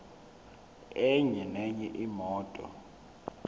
enye nenye imoto